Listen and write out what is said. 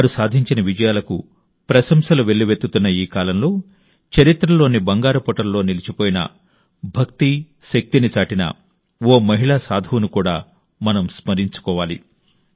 వారు సాధించిన విజయాలకు సర్వత్రా ప్రశంసలు వెల్లువెత్తుతున్న ఈ కాలంలో చరిత్రలోని బంగారు పుటల్లో నిలిచిపోయిన భక్తి శక్తిని చాటిన ఓ మహిళా సాధువును కూడా మనం స్మరించుకోవాలి